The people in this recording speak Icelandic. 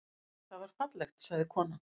Það var fallegt, sagði konan.